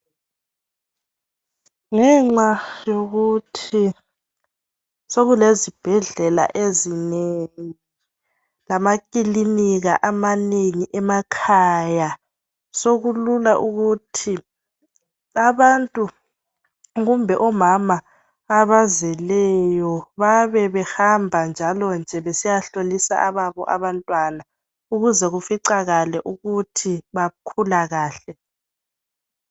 Ngenxa yokuthi sokulezibhedlela ezinengi lamakilinika amanengi emakhaya sokulula ukuthi abantu kumbe omama abazeleyo babebehamba njalo nje besiyahlolisa ababo abantwana ukuze kuficakale ukuthi bakhula kahle.